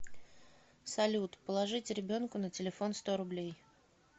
салют положить ребенку на телефон сто рублей